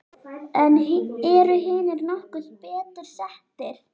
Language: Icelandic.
En eru hinir nokkru betur settir?